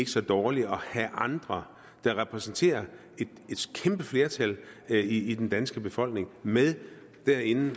så dårligt at have andre der repræsenterer et kæmpe flertal i den danske befolkning med derinde